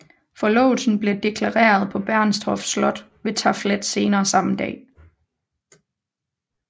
Forlovelsen blev deklareret på Bernstorff Slot ved taflet senere samme dag